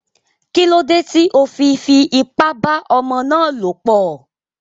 Kílódé tí o fi fi ipá bá ọmọ ná lọ̀ pọ̀?